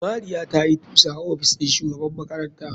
Mariya tayi tusa a ofis ɗin shugaban makaranta.